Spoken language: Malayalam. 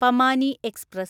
പമാനി എക്സ്പ്രസ്